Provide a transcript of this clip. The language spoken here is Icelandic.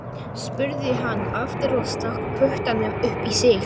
spurði hann aftur og stakk puttanum upp í sig.